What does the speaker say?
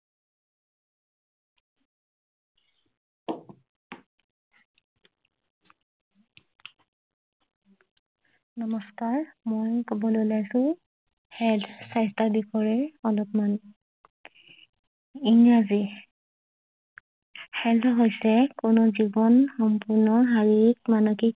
নমস্কাৰ মই কবলৈ ওলাইছে হেল্থ স্বাস্থ্যৰ বিষয়ে অলপ মান ইংৰাজী হেল্থ হৈছে কোনো জীৱন সম্পূৰ্ণ শাৰীৰিক মানসিক